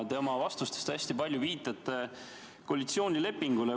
Te oma vastustes viitate hästi palju koalitsioonilepingule.